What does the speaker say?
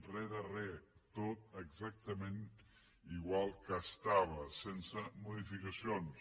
res de res tot exactament igual que estava sense modificacions